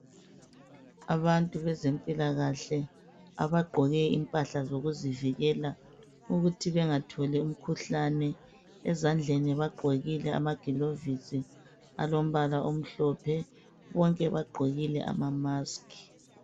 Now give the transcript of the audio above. Abantu bezempilakahle abagqoke impahla zokuzivikela ukuthi bengatholi imikhuhlane. Ezandleni bagqokile amagilovisi alombala omhlophe . Bonke bagqokile amamaski.